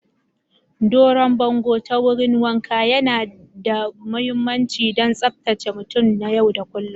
Daron bongo ta wurin wanka yana da mahimmanci don tsabtace mutum na yau da kullun.